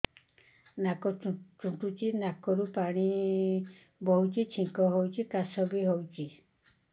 ନାକ ଚୁଣ୍ଟୁଚି ନାକରୁ ପାଣି ବହୁଛି ଛିଙ୍କ ହଉଚି ଖାସ ବି ହଉଚି